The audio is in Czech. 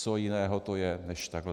Co jiného to je než takhle.